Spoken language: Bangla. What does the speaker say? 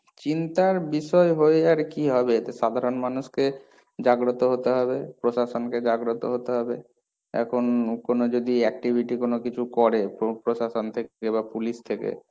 চিন্তার বিষয় হয়ে আর কি হবে? এতে সাধারণ মানুষকে জাগ্রত হতে হবে, প্রশাসনকে জাগ্রত হতে হবে, এখন কোনো যদি activity কোনো কিছু করে, proof প্রশাসন থেকে বা police থেকে।